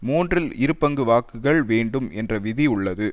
மூன்றில் இரு பங்கு வாக்குகள் வேண்டும் என்ற விதி உள்ளது